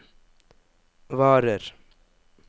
varer